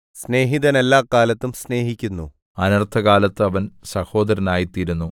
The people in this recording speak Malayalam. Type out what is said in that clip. സ്നേഹിതൻ എല്ലാകാലത്തും സ്നേഹിക്കുന്നു അനർത്ഥകാലത്ത് അവൻ സഹോദരനായിത്തീരുന്നു